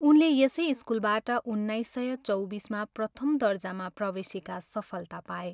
उनले यसै स्कुलबाट उन्नाइस सय चौबिसमा प्रथम दर्जामा प्रवेशिका सफलता पाए।